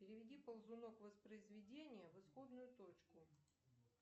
переведи ползунок воспроизведения в исходную точку